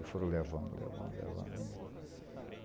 E foram levando, levando, levando.